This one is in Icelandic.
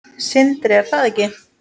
Sindri: Er það ekki?